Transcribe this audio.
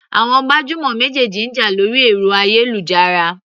Àwọn gbajúmọ̀ méjèèjì ń jà lórí ẹ̀rọ ayélujára.